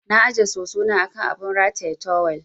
Na ajiye soso na a kan abun rataye tawul.